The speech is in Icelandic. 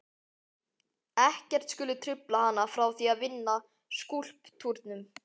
Ekkert skuli trufla hana frá því að vinna að skúlptúrnum.